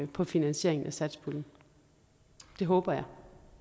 på finansieringen af satspuljen det håber jeg